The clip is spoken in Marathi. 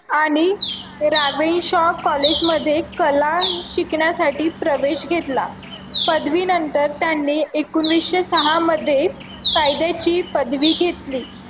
आणि college मध्ये कला शिकण्यासाठी प्रवेश घेतला पदवीनंतर त्यांनी एकोणीशे सहा मध्ये ची पदवी घेतली